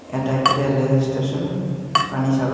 এটা একটা railway station Panisagar.